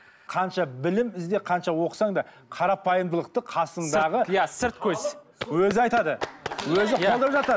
қанша білім ізде қанша оқысаң да қарапайымдылықты қасыңдағы иә сырт көз өзі айтады өзі қолдап жатады